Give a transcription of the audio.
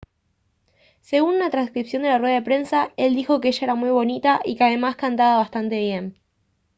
según una transcripción de la rueda de prensa él dijo «que ella era muy bonita y que además cantaba bastante bien»